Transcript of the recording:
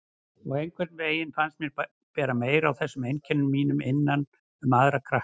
Og einhvern veginn fannst mér bera meira á þessum einkennum mínum innan um aðra krakka.